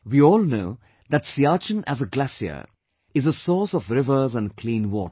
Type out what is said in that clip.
We all know that Siachen as a glacier is a source of rivers and clean water